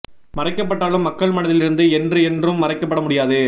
மறைக்க பட்டாலும் மக்கள் மனதில் இருந்து என்று என்றும் மறைக்க பட முடியாது